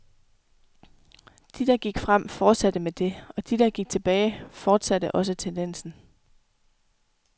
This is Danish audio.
De, der gik frem, fortsatte med det, og de, der gik tilbage, fortsatte også tendensen.